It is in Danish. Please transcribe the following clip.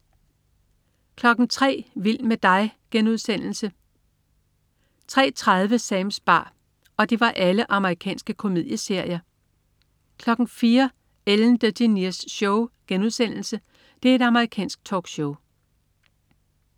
03.00 Vild med dig.* Amerikansk komedieserie 03.30 Sams bar. Amerikansk komedieserie 04.00 Ellen DeGeneres Show* Amerikansk talkshow